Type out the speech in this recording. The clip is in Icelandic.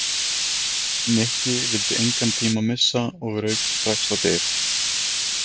Nikki vildi engan tíma missa og rauk strax á dyr.